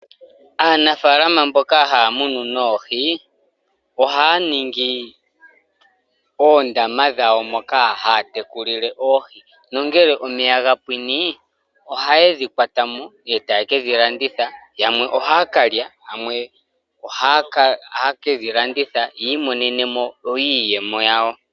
Aanafaalama mboka haya munu noohi ohaya ningi oondama dhawo, moka haya tekulile oohii nongele omeya ga pwine, oha yedhi kwatamo e taye kedhi landitha. Yamwe ohaya kalya, yamwe ohaye kedhi landitha yi imonene mo iiyemo yawo.